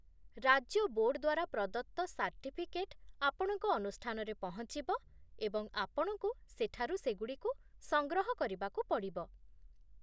ରାଜ୍ୟ ବୋର୍ଡ ଦ୍ୱାରା ପ୍ରଦତ୍ତ ସାର୍ଟିଫିକେଟ୍ ଆପଣଙ୍କ ଅନୁଷ୍ଠାନରେ ପହଞ୍ଚିବ, ଏବଂ ଆପଣଙ୍କୁ ସେଠାରୁ ସେଗୁଡ଼ିକୁ ସଂଗ୍ରହ କରିବାକୁ ପଡ଼ିବ